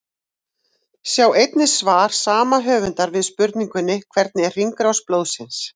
Sjá einnig svar sama höfundar við spurningunni Hvernig er hringrás blóðsins?